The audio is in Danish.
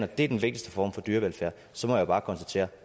det er den vigtigste form for dyrevelfærd så må jeg bare konstatere